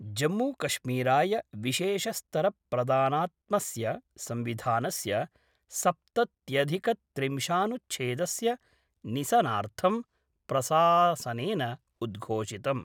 जम्मूकश्मीराय विशेषस्तर प्रधानात्मस्य संविधानस्य सप्तत्यधिकत्रिंशानुच्छेदस्य निसनार्थं प्रसासनेन उद्घोषितम्।